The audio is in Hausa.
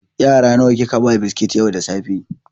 Yara nawa kika ba biskit yau da safe?